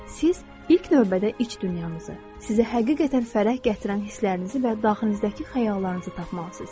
Siz ilk növbədə iç dünyanızı, sizə həqiqətən fərəh gətirən hisslərinizi və daxilinizdəki xəyallarınızı tapmalısınız.